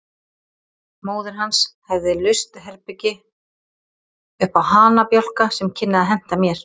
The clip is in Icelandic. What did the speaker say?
Móðir hans hefði laust herbergi uppá hanabjálka sem kynni að henta mér.